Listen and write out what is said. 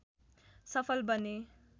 सफल बने